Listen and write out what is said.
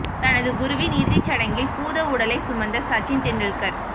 தனது குருவின் இறுதி சடங்கில் பூத உடலை சுமந்த சச்சின் டெண்டுல்கர்